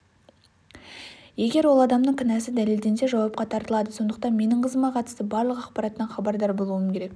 егер ол адамның кінәсі дәлелденсе жауапқа тартылады сондықтан менің қызыма қатысты барлық ақпараттан хабардар болуым керек